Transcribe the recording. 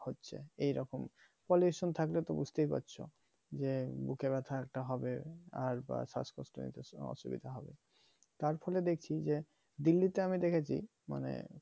হচ্ছে এইরকম pollution থাকলেতো বুজতে পারছো যে বুকে ব্যাথা একটা হবে আর শ্বাসকষ্ট এইটা অসুবিধা হবে তারফলে দেখছি যে delhi তে আমি দেখেছি মানে